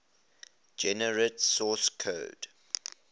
generate source code